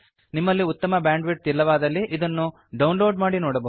ನಿಮ್ಮಲ್ಲಿ ಉತ್ತಮ ಬ್ಯಾಂಡ್ವಿಡ್ಥ್ ಇಲ್ಲವಾದಲ್ಲಿ ನೀವಿದನ್ನು ಡೌನ್ಲೋಡ್ ಮಾಡಿ ನೊಡಬಹುದು